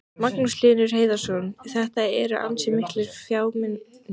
Magnús Hlynur Hreiðarsson: Þetta eru ansi miklir fjármunir?